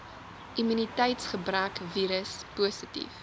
immuniteitsgebrek virus positief